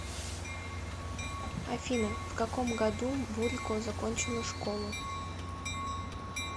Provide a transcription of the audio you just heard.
афина в каком году бурико закончила школу